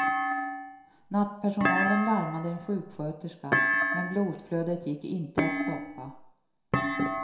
Nattpersonalen larmade en sjuksköterska, men blodflödet gick inte att stoppa.